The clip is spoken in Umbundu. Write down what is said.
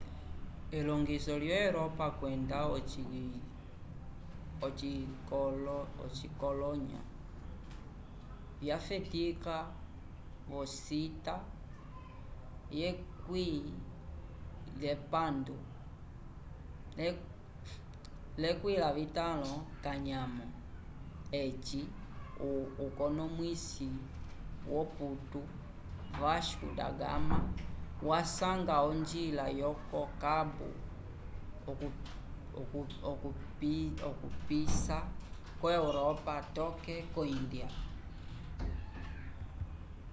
elongiso lyo europa kwenda ocikolonyo vyafetika vocita xv eci ukonomwisi woputu vasco da gama wasanga onjila yoko-cabo okupisa ko-europa toke ko-índia